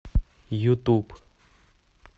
ютуб